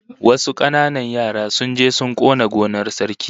Wasu kananan yara sun je sun kona gonar Sarki